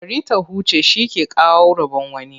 Bari ta huce, shi ke kawo rabon wani.